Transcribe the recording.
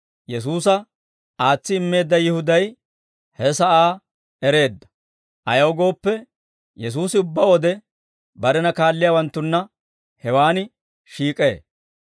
Yesuusa aatsi immeedda Yihuday he sa'aa ereedda; ayaw gooppe, Yesuusi ubbaa wode barena kaalliyaawanttunna hewan shiik'ee.